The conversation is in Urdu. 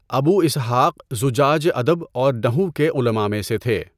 ابو اسحاق زجاج ادب اور نحو کے علماء میں سے تھے۔